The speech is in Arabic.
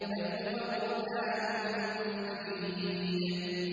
بَلْ هُوَ قُرْآنٌ مَّجِيدٌ